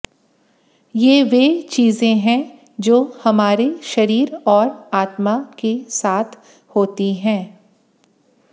ये वे चीज़ें हैं जो हमारे शरीर और आत्मा के साथ होती हैं